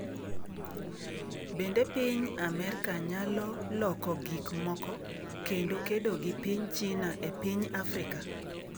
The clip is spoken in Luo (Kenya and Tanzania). Bende piny Amerka nyalo loko gik moko kendo kedo gi piny China e piny Afrika?